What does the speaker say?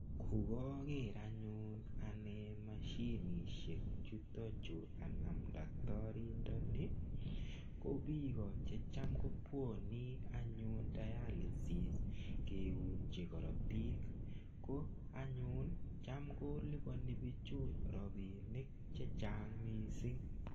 Kukaker anyun ane mashinishek chutokchu kanam daktorindoni ko biko checham kobwoni anyun dialysis keunji korotik ko anyun chem koliponi bichu robinik chechang' mising'